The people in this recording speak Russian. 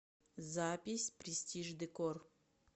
запись престиж декор